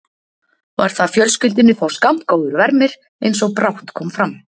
Var það fjölskyldunni þó skammgóður vermir, eins og brátt kom fram.